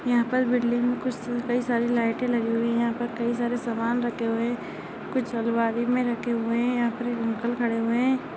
यहाँ पर बिल्डिंग कुछ कई सारी लाइटें लगी हुई है यहाँ पर कई सारे समान रखे हुए है कुछ अलमारी में रखे हुए है यहाँ पर एक अंकल खड़े हुए है।